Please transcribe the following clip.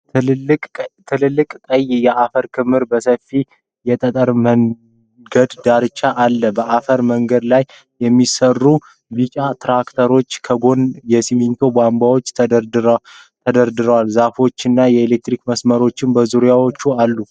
ትላልቅ ቀይ የአፈር ክምር በሰፊው የጠጠር መንገድ ዳርቻ አለ። በአፈር መንገድ ላይ የሚሠራ ቢጫ ትራክተር፣ ከጎኑ የሲሚንቶ ቧንቧዎች ተደርድረዋል። ዛፎችና የኤሌክትሪክ ምሰሶዎችም በዙሪያው አሉ።